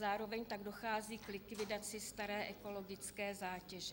Zároveň tak dochází k likvidaci staré ekologické zátěže.